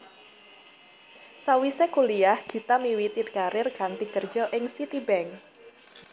Sawisé kuliyah Gita miwiti karir kanthi kerja ing Citibank